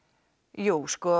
jú sko